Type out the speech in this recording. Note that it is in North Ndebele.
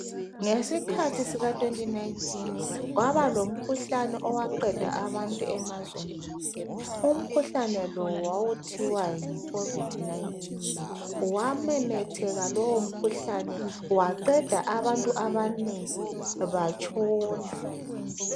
Ngesikhathi sika 2019 kwaba lomkhuhlane owaqeda abantu emazweni wonke. Umkhuhlane lo wawuthiwa yi Covid-19.Wamemetheka lowo mkhuhlane waqeda abantu abanengi batshona.